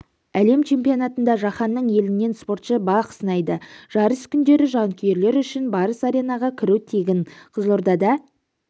әлем чемпионатында жаһанның елінен спортшы бақ сынайды жарыс күндері жанкүйерлер үшін барыс аренаға кіру тегін қызылордада